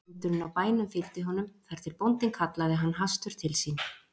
Hundurinn á bænum fylgdi honum þar til bóndinn kallaði hann hastur til sín.